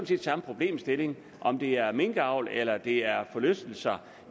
set samme problemstilling om det er minkavl eller det er forlystelser